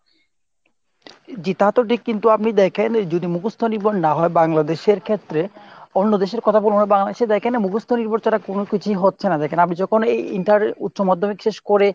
জি তাতো ঠিক। কিন্তু আপনি দ্যাখেন যদি মুখস্ত নির্ভর না হয় Bangladesh এর ক্ষেত্রে অন্য দেশের কথা বলবো না Bangladesh এ দ্যাখেন না মুখস্ত নির্ভর ছাড়া কোনো কিছুই হচ্ছে না। দ্যাখেন আপনি যখন এই inter উচ্চ মাধ্যমিক শেষ করে